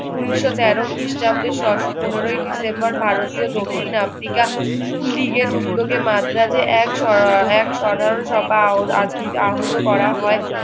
ঊনিশো তেরো খ্ৰীষ্টাব্দে পনেরোই ডিসেম্বর ভারতীয় দক্ষিণ আফ্রিকা লীগের উদ্যোগে মাদ্রাজে এক এক সভা আহুত করা হয়